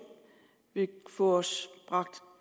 vil få os bragt